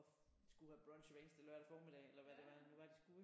Og skulle have brunch hver eneste lørdag formiddag eller hvad det var nu var de skulle ik